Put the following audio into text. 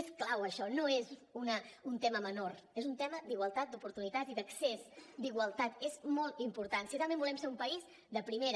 és clau això no és un tema menor és un tema d’igualtat d’oportunitats i d’accés d’igualtat és molt important si realment volem ser un país de primera